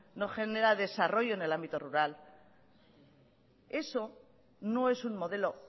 no genera desarrollo en el ámbito rural eso no es un modelo